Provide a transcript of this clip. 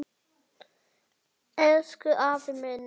Elsku afi minn.